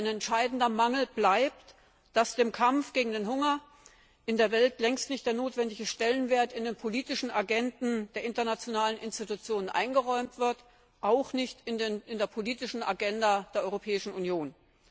Ein entscheidender Mangel bleibt, dass dem Kampf gegen den Hunger in der Welt längst nicht der notwendige Stellenwert in den politischen Agenden der internationalen Institutionen eingeräumt wird, auch nicht in der politischen Agenda der Europäischen Union.